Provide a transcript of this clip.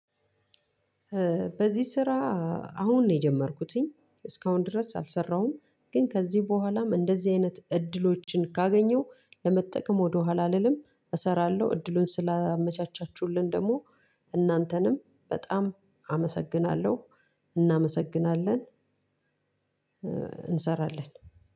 በዚህ ስራ አሁን ነው የጀመርኩትኝ እስካሁን ድረስ አልሰራሁም። ግን ከዚህ በኋላም እንደዚህ አይነት እድሎችን ካገኘው ለመጠቀም ወደ ኋላ አልልም። እሰራለሁ። እድሉን ስላመቻቻችሁልን ደግሞ እናንተንም በጣም አመሰግናለሁ። እናመሰግናለን። እንሰራለን።